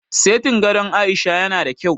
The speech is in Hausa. Setin gadon Aisha ya na da kyau